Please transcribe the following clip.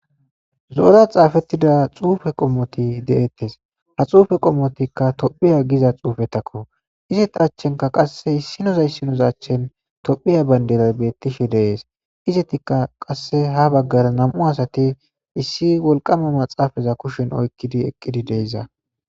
zoora xaafettida xuufe qommoti de7ettes ha xuufe qommotikka tophiya giza xuufetakko izeta achenka qasse issinoza issinozachchen tophiya bayndelay bettishe deees izetikka qasse ha baggara nam7u asati issi wolqama maxaafaza kushen oykkidi eqqidi deiza